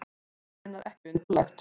Það er raunar ekki undarlegt.